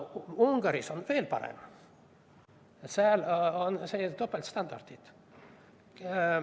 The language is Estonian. Ungaris on veel parem, seal on topeltstandardid.